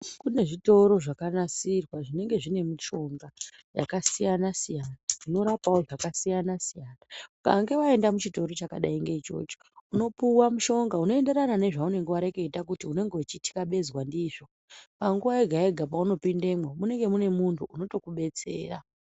Kunezvitoro zvakanasirwa zvinenge zvine mishonga yakasiyana siyana dzinorapawo zvakasiyana siyana ukange waenda muchitoro chinenge chakadai ngeichocho unopuwa mushonga unoenderana nezvaunenge wareketa kuti urikutikabezwa ndizvo. Panguwa yega yega yaunopindemwo munenge mune munhu unokudetsera.